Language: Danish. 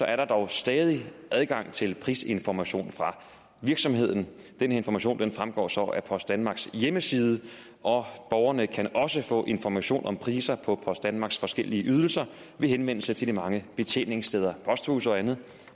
er der dog stadig adgang til prisinformation fra virksomheden den information fremgår så af post danmarks hjemmeside og borgerne kan også få information om priser på post danmarks forskellige ydelser ved henvendelse til de mange betjeningsteder posthuse og andet